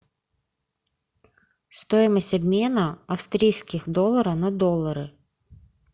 стоимость обмена австрийских долларов на доллары